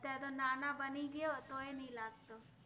ત્ય઼આ તો નાના બનિ ગ્ય઼ઓ તો એ નૈ લાગ્તો